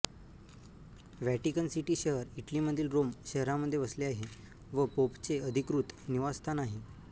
Vatican City शहर इटलीमधील Rome शहरामध्ये वसले आहे व पोपचे अधिकृत निवासस्थान आहे